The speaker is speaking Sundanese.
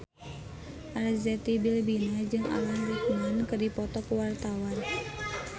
Arzetti Bilbina jeung Alan Rickman keur dipoto ku wartawan